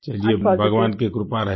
चलिये भगवान की कृपा रही